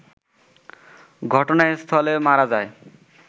ঘটনাস্থলেই মারা যায়